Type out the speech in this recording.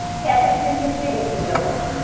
Caafe three sixty Degree যাবো।